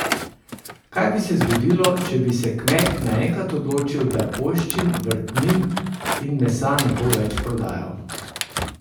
Kaj bi se zgodilo, če bi se kmet naenkrat odločil, da poljščin, vrtnin in mesa ne bo več prodajal?